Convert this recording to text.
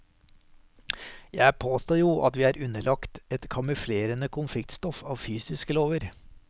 Jeg påstår jo at vi er underlagt et kamuflerende konfliktstoff av fysiske lover.